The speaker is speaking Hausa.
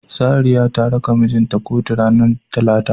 Sariya ta raka mijin ta kotu ranar Talata.